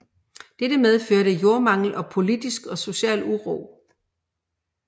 Dette medførte jordmangel og politisk og social uro